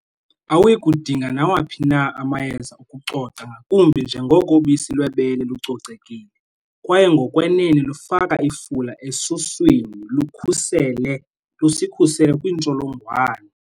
Awuyi kudinga nawaphi na amayeza okucoca ngakumbi njengoko ubisi lwebele lucocekile, kwaye ngokwenene lufaka ifula esuswini, lukhusele lusikhusele kwiintsholongwane.